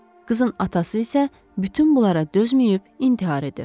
Qızın atası isə bütün bunlara dözməyib intihar edir.